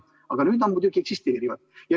Aga nüüd need muidugi eksisteerivad.